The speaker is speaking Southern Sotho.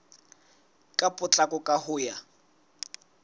ka potlako ka ho ya